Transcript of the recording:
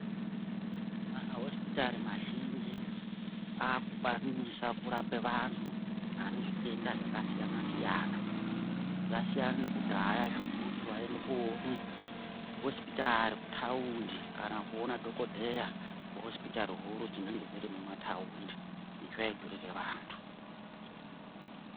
Mahosipitari mazhinji akukwanise kurape vantu vanezvitenda zvakasiyana-siyana. Zvasiyana nekudhaya zvekuti waiende koona hosipitari kutaundi kana kuona dhogodheya kuhosipitari huru dzinenge dzirimumataundi. Izvi zvaidhurire vantu.